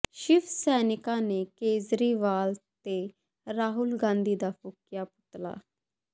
ਸ਼ਿਵ ਸੈਨਿਕਾਂ ਨੇ ਕੇਜਰੀਵਾਲ ਤੇ ਰਾਹੁਲ ਗਾਂਧੀ ਦਾ ਫੂਕਿਆ ਪੁਤਲਾ